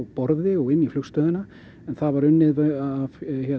borði og inn í flugstöðina það var unnið af